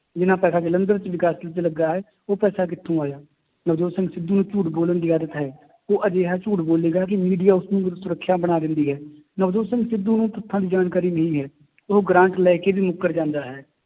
ਜਿੰਨਾ ਪੈਸਾ ਜਲੰਧਰ ਚ ਵਿਕਾਸ ਚ ਲੱਗਾ ਹੈ, ਉਹ ਪੈਸਾ ਕਿੱਥੋਂ ਆਇਆ ਨਵਜੋਤ ਸਿੰਘ ਸਿੱਧੂ ਨੂੰ ਝੂਠ ਬੋਲਣ ਦੀ ਆਦਤ ਹੈ ਉਹ ਅਜਿਹਾ ਝੂਠ ਬੋਲੇਗਾ ਕਿ media ਉਸਨੂੰ ਸੁਰਖੀਆਂ ਬਣਾ ਦਿੰਦੀ ਹੈ, ਨਵਜੋਤ ਸਿੰਘ ਸਿੱਧੂ ਨੂੰ ਤੱਥਾਂ ਦੀ ਜਾਣਕਾਰੀ ਨਹੀਂ ਹੈ ਉਹ ਗ੍ਰਾਂਟ ਲੈ ਕੇ ਵੀ ਮੁੱਕਰ ਜਾਂਦਾ ਹੈ,